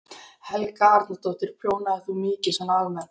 Helga Arnardóttir: Prjónar þú mikið svona almennt?